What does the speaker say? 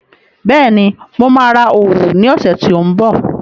Bẹ́ẹ̀ni, mo máa ra òòlù ní ọ̀sẹ̀ tí ó ń bọ̀